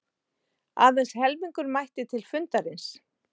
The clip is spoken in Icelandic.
Aðeins helmingur mætti til fundarins